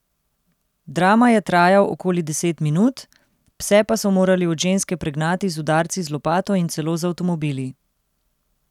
Drama je trajal okoli deset minut, pse pa so morali od ženske pregnati z udarci z lopato in celo z avtomobili.